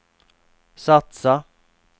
satsa